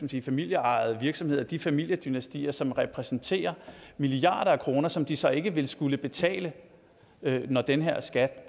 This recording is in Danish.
de familieejede virksomheder de familiedynastier som repræsenterer milliarder af kroner som de så ikke ville skulle betale når den her skat